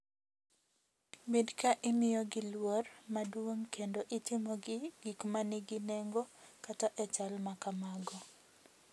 Bed ka imiyogi luor maduong’ kendo itimogi gik ma nigi nengo kata e chal ma kamago.